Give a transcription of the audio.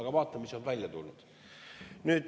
–, aga vaata, mis välja tuli.